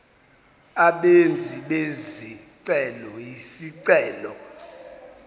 abenzi bezicelo izicelo